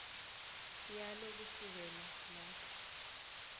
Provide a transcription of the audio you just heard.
yalo kusukela lapho